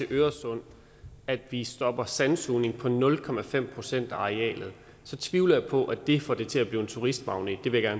øresund at vi stopper sandsugning på nul procent af arealet tvivler jeg på at det får det til at blive en turistmagnet det vil jeg